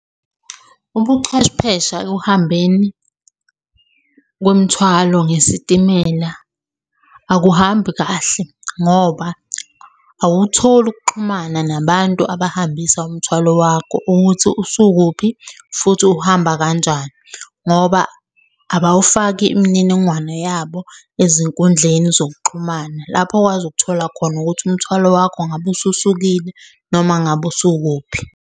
Ubuchwepheshe ekuhambeni kwemithwalo ngesitimela akuhambi kahle ngoba awutholi ukuxhumana nabantu abahambisa umthwalo wakho ukuthi usukuphi futhi uhamba kanjani, ngoba abawufaki imininingwane yabo ezinkundleni zokuxhumana, lapho okwazi ukuthola khona ukuthi umthwalo wakho ngabe ususukile noma ngabe usukuphi.